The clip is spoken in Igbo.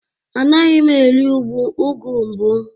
Anaghị m eri ugu mbụ